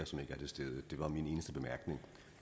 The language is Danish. som ikke er til stede det var min eneste bemærkning